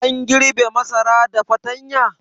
An girbe masara da fatanya?